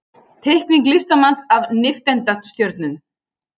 Teikning listamanns af nifteindastjörnu.